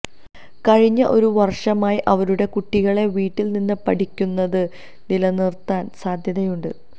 കഴിഞ്ഞ ഒരു വര്ഷമായി അവരുടെ കുട്ടികളെ വീട്ടില് നിന്ന് പഠിക്കുന്നത് നിലനിര്ത്താന് സാധ്യതയുണ്ട്